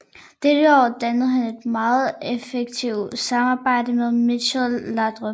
Dette år dannede han et meget effektivt samarbejde med Michael Laudrup